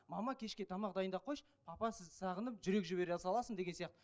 мама кешке тамақ дайындап қойшы папа сізді сағынып жүрек жібере саласың деген сияқты